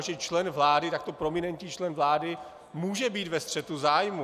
A že člen vlády, takto prominentní člen vlády, může být ve střetu zájmů.